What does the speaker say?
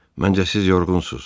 Məncə siz yorğunsunuz.